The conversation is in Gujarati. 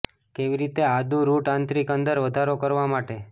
કેવી રીતે આદુ રુટ આંતરિક અંદર વધારો કરવા માટે